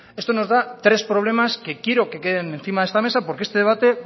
esto nos da tres problemas que quiero que queden encima de esta mesa porque este debate